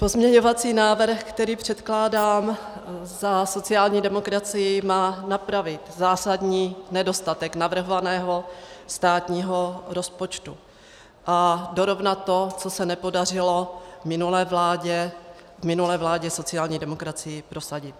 Pozměňovací návrh, který předkládám za sociální demokracii, má napravit zásadní nedostatek navrhovaného státního rozpočtu a dorovnat to, co se nepodařilo v minulé vládě sociální demokracii prosadit.